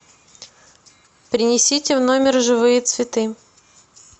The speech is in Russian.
принесите в номер живые цветы